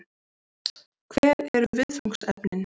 Hver eru viðfangsefnin?